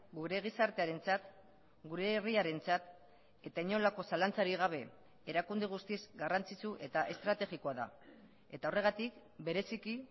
gure gizartearentzat gure herriarentzat eta inolako zalantzarik gabe erakunde guztiz garrantzitsu eta estrategikoa da eta horregatik bereziki